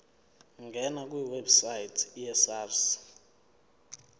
ngena kwiwebsite yesars